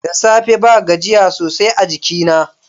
Da safe ba gajiya sosai a jikina.